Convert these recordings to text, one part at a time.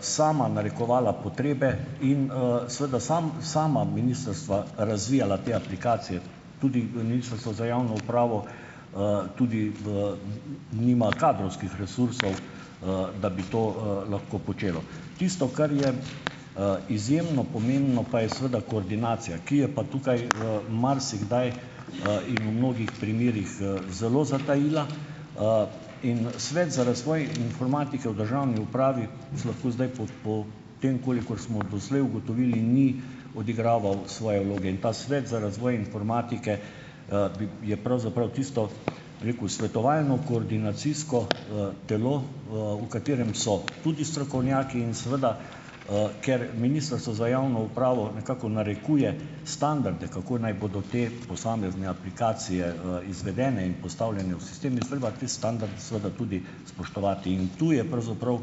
sama narekovala potrebe in, seveda sam sama ministrstva razvijala te aplikacije. Tudi Ministrstvo za javno upravo - tudi v nima kadrovskih resursov, da bi to, lahko počelo. Tisto, kar je, izjemno pomembno, pa je seveda koordinacija. Ki je pa tukaj, marsikdaj, in v mnogih primerih, zelo zatajila. In, Svet za razvoj informatike v državni upravi vas lahko zdaj po po tem, kolikor smo doslej ugotovili, ni odigraval svoje vloge. In ta Svet za razvoj informatike, bi je pravzaprav tisto, bom rekel, svetovalno, koordinacijsko, telo, v katerem so tudi strokovnjaki. In seveda, ker Ministrstvo za javno upravo nekako narekuje standarde, kako naj bodo te posamezne aplikacije, izvedene in postavljene v sistem, je treba te standarde seveda tudi spoštovati. In tu je pravzaprav,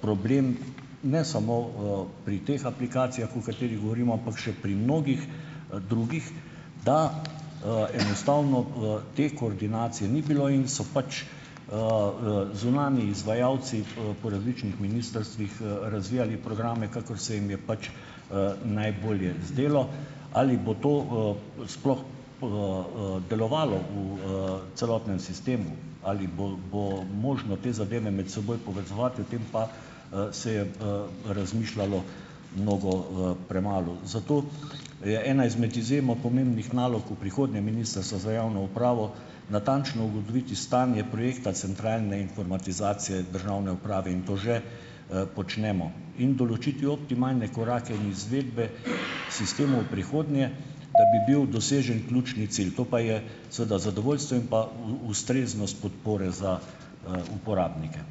problem, ne samo, pri teh aplikacijah, o katerih govorimo, ampak še pri mnogih, drugih, da, enostavno, te koordinacije ni bilo in so pač, zunanji izvajalci, po različnih ministrstvih, razvijali programe, kakor se jim je pač, najbolje zdelo. Ali bo to, sploh, delovalo v, celotnem sistemu? Ali bo bo možno te zadeve med seboj povezovati? O tem pa, se je, razmišljalo mnogo, premalo. Zato je ena izmed izjemno pomembnih nalog v prihodnje Ministrstva za javno upravo natančno ugotoviti stanje projekta centralne informatizacije državne uprave. In to že, počnemo. In določiti optimalne korake in izvedbe sistemov v prihodnje, da bi bil dosežen ključni cilj. To pa je seveda zadovoljstvo in pa v ustreznost podpore za, uporabnike.